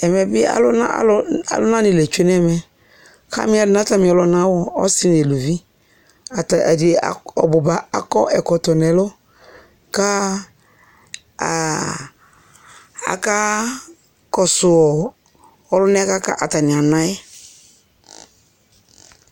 Ɛʋɛ bi alunani lé tchué nɛ ɛmɛ Hamiɛlu nu atami ɔluna wu ɔsi nu uluʋi Ata ɛdi ɔbuba akɔ ɛkɔtɔ nɛ ɛlu Ka aka kɔ ɔlunɛ ka atania anaɛ